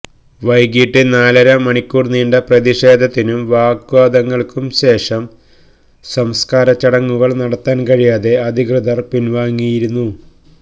വൈകിട്ട് നാലര മണിക്കൂർ നീണ്ട പ്രതിഷേധത്തിനും വാഗ്വാദങ്ങൾക്കും ശേഷം സംസ്കാരച്ചടങ്ങുകൾ നടത്താൻ കഴിയാതെ അധികൃതർ പിൻവാങ്ങിയിരുന്നു